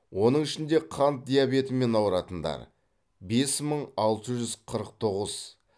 оның ішінде қант диабетімен ауыратындар бес мың алты жүз қырық тоғыз